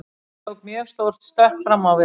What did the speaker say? Ég tók mjög stórt stökk fram á við.